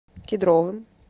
кедровым